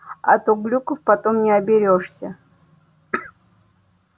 а то глюков потом не оберёшься